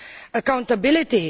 Accountability?